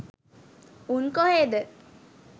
උන් කොහේද